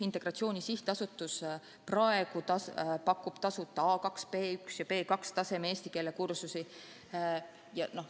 Integratsiooni Sihtasutus pakub praegu tasuta A2-, B1- ja B2-taseme eesti keele kursusi.